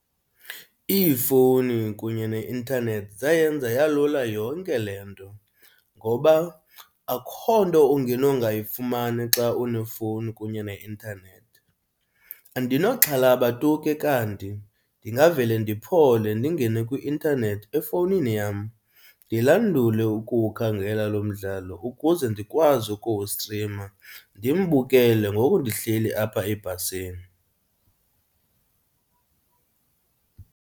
Iifowuni kunye ne-intanethi zayenza yalula yonke le nto ngoba akho nto ungenongayifumani xa unefowuni kunye ne-intanethi. Andinoxhalaba tu ke kanti, ndingavele ndiphole ndingene kwi-intanethi efowunini yam, ndilandule ukuwukhangela lo mdlalo ukuze ndikwazi ukuwustrima ndimbukele ngoku ndihleli apha ebhasini.